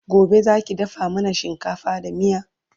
Gobe Zaki dafa mana shinkafa da miya?